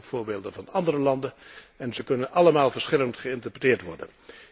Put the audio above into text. Er zijn ook voorbeelden van andere landen en ze kunnen allemaal verschillend geïnterpreteerd worden.